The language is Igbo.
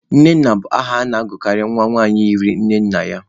Nnenna bụ aha a na-agụkarị nwa nwanyị yiri nne nna ya.